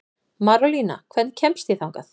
Marólína, hvernig kemst ég þangað?